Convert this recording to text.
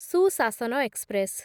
ସୁଶାସନ ଏକ୍ସପ୍ରେସ୍